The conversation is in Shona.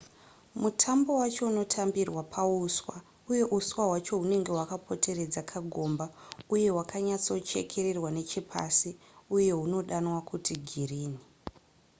mutambo wacho unotambirwa pauswa uye uswa hwacho hunenge hwakapoteredza kagomba uye hwakanyatsochekererwa nechepasi uye hunodanwa kuti girini